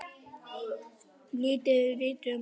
Lítið er vitað um málið.